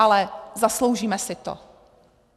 Ale zasloužíme si to.